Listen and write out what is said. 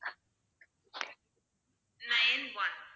nine one